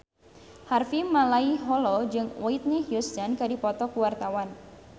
Harvey Malaiholo jeung Whitney Houston keur dipoto ku wartawan